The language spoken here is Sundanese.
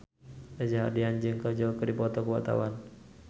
Reza Rahardian jeung Kajol keur dipoto ku wartawan